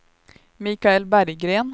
Michael Berggren